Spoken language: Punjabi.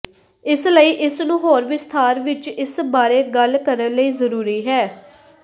ਇਸ ਲਈ ਇਸ ਨੂੰ ਹੋਰ ਵਿਸਥਾਰ ਵਿਚ ਇਸ ਬਾਰੇ ਗੱਲ ਕਰਨ ਲਈ ਜ਼ਰੂਰੀ ਹੈ